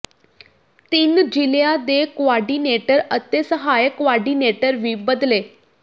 ਤਿੰਨ ਜ਼ਿਲਿਆਂ ਦੇ ਕੋਆਰਡੀਨੇਟਰ ਅਤੇ ਸਹਾਇਕ ਕੋਆਰਡੀਨੇਟਰ ਵੀ ਬਦਲੇ